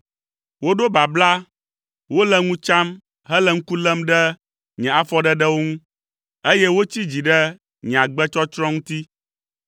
Woɖo babla, wole ŋu tsam, hele ŋku lém ɖe nye afɔɖeɖewo ŋu, eye wotsi dzi ɖe nye agbetsɔtsrɔ̃ ŋuti.